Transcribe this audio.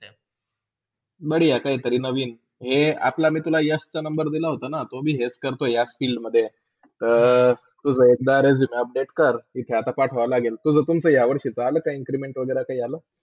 बऱ्या! काहितरी नवीन ए आपला मी तुला यशचा number दिला होताना. तो भी ईच करतो हया Field मधे तर तुझा एखदा Resume update कर तिथे पाठवोया लागेल तिथे. तुझा तुमचा या वर्षीचा आला का Increment वागेरा काय आला?